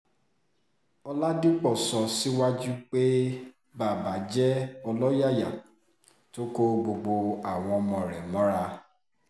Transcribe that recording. ọ̀làdìpọ̀ sọ síwájú pé baba jẹ́ ọlọ́yàyà tó kó gbogbo àwa ọmọ rẹ̀ mọ́ra